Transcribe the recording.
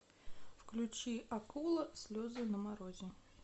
включи акула слезы на морозе